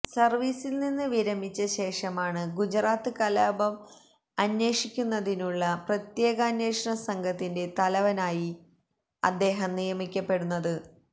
സർവീസിൽനിന്ന് വിരമിച്ച ശേഷമാണ് ഗുജറാത്ത് കലാപം അന്വേഷിക്കുന്നതിനുള്ള പ്രത്യേകാന്വേഷണ സംഘത്തിന്റെ തലവനായി അദ്ദേഹം നിയമിക്കപ്പെടുന്നത്